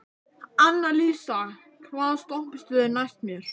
Annalísa, hvaða stoppistöð er næst mér?